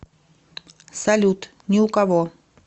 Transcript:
салют ни у кого